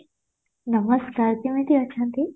ନମସ୍କାର କେମିତି ଅଛନ୍ତି